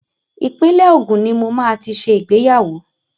Ìpínlẹ̀ Ògùn ní mo máa ti ṣe ìgbéyàwó.